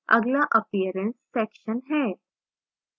अगला appearance section है